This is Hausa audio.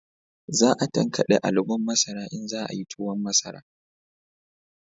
Za a tankade alubon masara in za a yi tuwon masara